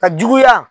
Ka juguya